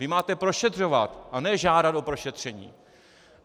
Vy máte prošetřovat a ne žádat o prošetření.